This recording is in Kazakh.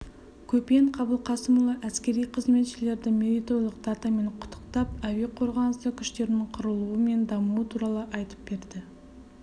көпен қабылқасымұлы әскери қызметшілерді мерейтойлық датамен құттықтап әуе қорғанысы күштерінің құрылуы мен дамуы туралы айтып берді